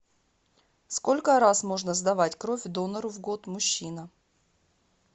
сколько раз можно сдавать кровь донору в год мужчина